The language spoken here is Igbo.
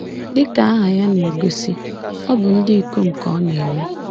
Dị ka aha ya na-egosi, ọ bụ ndị ikom ka ọ na-eme.